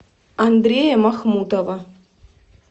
андрея махмутова